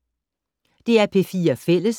DR P4 Fælles